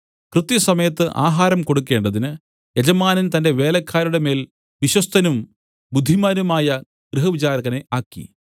കൃത്യ സമയത്ത് ആഹാരം കൊടുക്കണ്ടതിന് യജമാനൻ തന്റെ വേലക്കാരുടെ മേൽ വിശ്വസ്തനും ബുദ്ധിമാനുമായ ഗൃഹവിചാരകനെ ആക്കി